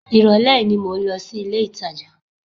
Ìrọ̀lẹ́ yìí ni mò ń lọ sí ilé-ìtàjà